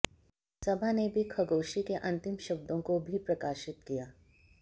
सबा ने भी खशोगी के अंतिम शब्दों को भी प्रकाशित किया